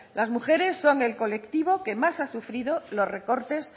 las mujeres son el colectivo que más ha sufrido los recortes